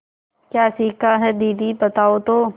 क्या सीखा है दीदी बताओ तो